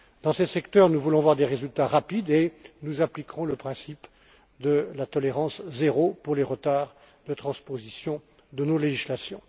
Dans ces secteurs, nous voulons voir des résultats rapides et nous appliquerons le principe de la tolérance zéro pour les retards de transposition de nos législations.